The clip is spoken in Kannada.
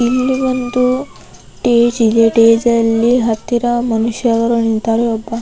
ಇಲ್ಲಿ ಒಂದು ಸ್ಟೇಜ್ ಇದೆ ಸ್ಟೇಜ್ ಅಲ್ಲಿ ಹತ್ತಿರ ಮನುಷ್ಯರು ನಿಂತರೆ ಒಬ್ಬ --